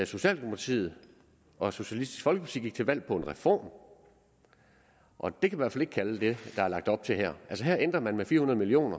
socialdemokratiet og socialistisk folkeparti gik til valg på en reform og det kan man fald ikke kalde det der er lagt op til her her ændrer man med fire hundrede million